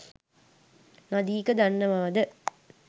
නදීක දන්නවාද